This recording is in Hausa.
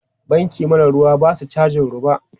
Banki mara ruwa ba su cajin roba.